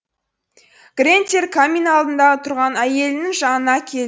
грентер камин алдында тұрған әйелінің жанына